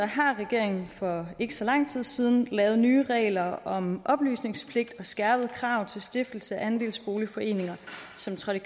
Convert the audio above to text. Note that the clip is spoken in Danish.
har regeringen for ikke så lang tid siden lavet nye regler om oplysningspligt og skærpet krav til stiftelse af andelsboligforeninger som trådte